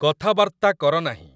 କଥାବାର୍ତ୍ତା କର ନାହିଁ